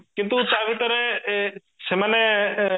କିନ୍ତୁ ତା ଭିତରେ ଏ ଏ ସେମାନେ